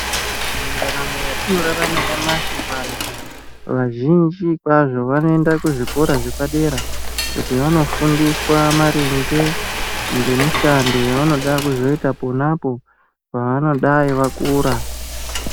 Mundaramo yatinorarama nyamashi vantu vazhinji kwazvo vanoenda kuzvikora zvepadera kuti vanofundiswa maringe ngemishando yavanoda kuzoita ponapo pavanodai vakura.